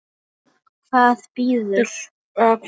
Veit hvað bíður.